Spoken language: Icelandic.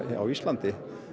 á Íslandi